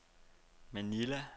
Manila